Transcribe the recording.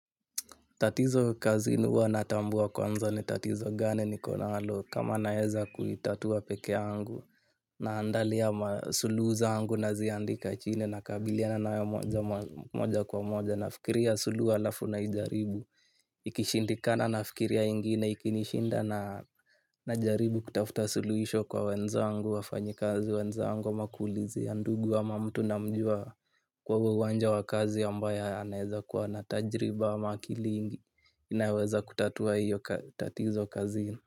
Tatizo kazini huwa natambua kwanza ni tatizo gani niko nalo kama naeza kuitatua peke yangu naandalia masuluhu zangu naziandika chini nakabiliana nayo moja kwa moja nafikiria suluhu alafu naijaribu. Ikishindikana nafikiria ingine ikinishinda najaribu kutafuta suluhisho kwa wenzangu wafanyikazi wenzangu ama kuulizia ndugu ama mtu na mjua kwa huo uwanja wa kazi ambaya naeza kuwa na tajriba ama kilingi. Inaweza kutatua hiyo tatizo kazi.